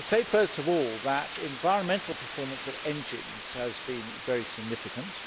First of all, the environmental performance of engines has been very significant.